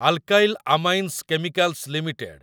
alkyl Amines Chemicals limited